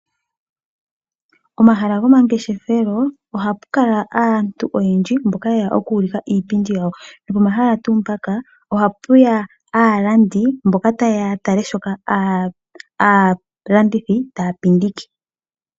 Pomahala gomangeshefelo, ohapu kala aantu oyendji, mboka yeya oku ulika iipindi yawo, nopomahala ngaka ohapuya wo aalandi mboka taye ya ya tale shoka aalandithi taya landitha.